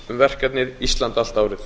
um verkefnið ísland allt árið